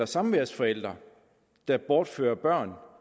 samværsforældre der bortfører børn